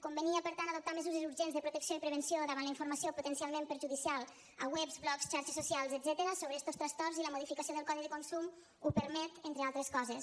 convenia per tant adoptar mesures urgents de protecció i prevenció davant la informació potencial ment perjudicial a webs blogs xarxes socials etcètera sobre estos trastorns i la modificació del codi de consum ho permet entre altres coses